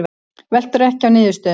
Veltur ekki á niðurstöðunum